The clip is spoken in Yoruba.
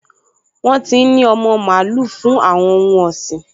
Wọ́n ti n ní ọmọ mààúlù fún àwọn ohun ọ̀sìn